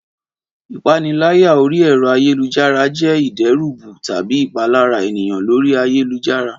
Ìpaniláyà orí ẹ̀rọ ayélujára jé ìdẹ́rùbù tàbí ìpalára ènìyàn lórí ayélujára